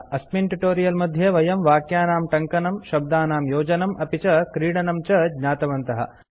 अस्मिन् ट्यूटोरियल मध्ये वयं वक्यानां टङ्कनं शब्दनां योजनम् अपि च क्रीडनं च ज्ञातवन्तः